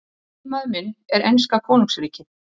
Eiginmaður minn er enska konungsríkið.